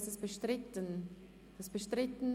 Ist dies bestritten?